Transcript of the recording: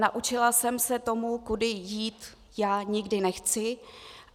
Naučila jsem se tomu, kudy já jít nikdy nechci.